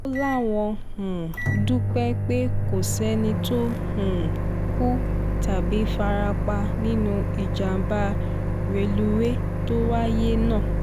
ó láwọn um dúpẹ́ pé kò sẹ́ni tó um kú tàbí fara pa nínú ìjàmbá rélùwéè tó wáyé náà